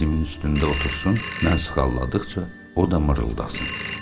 Dizimin üstündə otursun, mən sıxalladıqca o da mırıldasın.